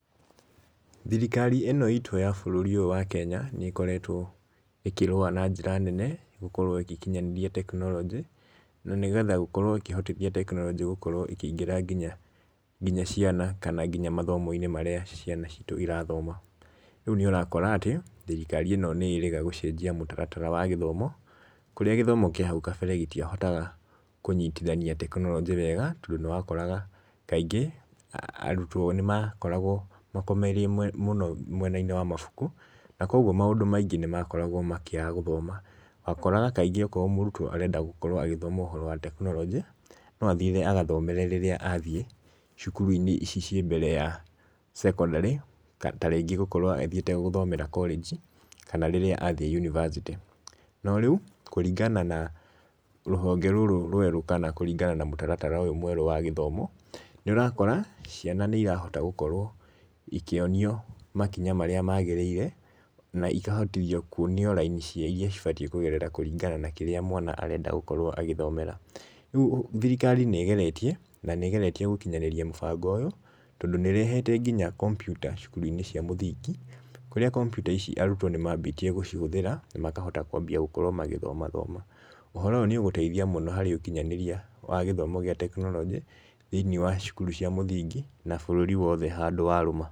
Thirikari ĩno itũ ya bũrũri ũyũ wa Kenya nĩ ĩkoretwo ĩkĩrũa na njĩra nene gũkorwo ĩgĩkinyanĩria tekinorojĩ na nĩ getha gũkorwo ĩkĩhotithia tekinorojĩ gũkorwo ĩkĩingĩra nginya ciana kana nginya mathomo~inĩ marĩa ciana citũ irathoma. Rĩu nĩ Ũrakora atĩ thirikari ĩno nĩ ĩrĩga gũcenjia mũtaratara wa gĩthomo kũrĩa gĩthomo kĩa hau kabere gĩtia ahotaga kũnyitithania tekinorojĩ wega tondũ nĩ wakoraga kaingĩ arutwo nĩ makoragwo makomoirie mũno mwena~inĩ wa mabuku na kogwo maũndũ maingĩ nĩ makoragwo makĩaga gũthoma. Wakoraga kaingĩ okorwo mũrutwo arenda gũkorwo agĩthoma ũhoro wa tekinorojĩ no athire agathomere rĩrĩa athiĩ cukuru~inĩ ici ciĩ mbere ya cekondarĩ. Tarĩngĩ gũkorwo athiĩte gũthomera korenji kana rĩrĩa athiĩ yunibacĩtĩ.No rĩu kũringana na rũhonge rũrũ rwerũ kana kũringana na mũtaratara ũyũ mwerũ wa gĩthomo. Nĩ ũrakora ciana nĩ irahota gũkorwo ikĩonio makinya marĩa magĩrĩire na ikahotithio kuonio raini cia iria cibatiĩ kũgerera kũringana na kĩrĩa mwana arenda gũkorwo agĩthomera. Rĩu thirikari nĩ ĩgeretie, na nĩ igeretie gũkinyanĩria mũbango ũyũ. Tondũ nĩ ĩrehete nginya kambyuta cukuru~inĩ cia mũthingi. Kũrĩa kambyutaici arutwo nĩ mambĩtie gũcihũthĩra na makahota kũambia gũkorwo magĩthomathoma. Ũhoro ũyũ nĩ ũgũteithia mũno harĩ ũkinyanĩria wa gĩthomo gĩa tekinorojĩ thĩ~inĩ wa cukuru cia mũthingi na bũrũri wothe handũ warũma.